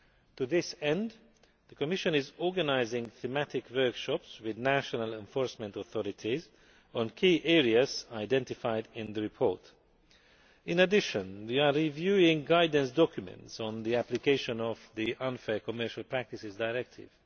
To this end, the Commission is organising thematic workshops with national enforcement authorities on key areas identified in the report. In addition we are reviewing guidance documents on the application of the Unfair Commercial Practices Directive.